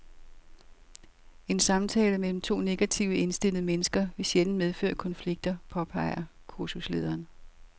En samtale mellem to negativt indstillede mennesker vil sjældent medføre konflikter, påpeger kursuslederen.